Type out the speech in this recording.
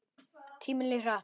Tíminn líður hratt.